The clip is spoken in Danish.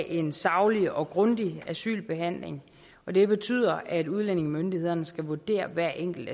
en saglig og grundig asylbehandling og det betyder at udlændingemyndighederne skal vurdere hver enkelt